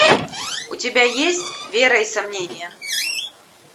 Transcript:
у тебя есть вера и сомнения